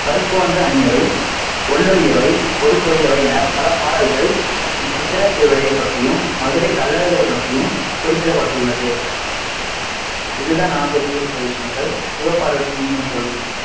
, ஒள்ளொளியவை, ஒரு குழையவை என பல பாடல்கள் இச்சித்திரை திருவிழா பற்றியும் மதுரை கள்ளழகர் பற்றியும் குறிப்பிடப்படுள்ளது இது தான் நான் தெரிஞ்சுகிட்ட விஷயங்கள் சிவபார்வதி நீங்க சொல்லுங்க